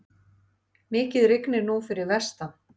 Mikið rignir nú fyrir vestan.